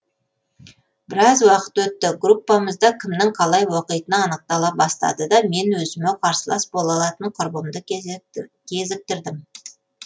біраз уақыт өтті группамызда кімнің қалай оқитыны анықтала бастады да мен өзіме қарсылас бола алатын құрбымды кезіктірдім